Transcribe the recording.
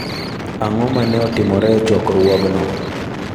Ang'o ma ne otimore e chokruogno?